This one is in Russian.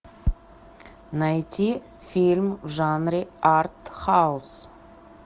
найти фильм в жанре арт хаус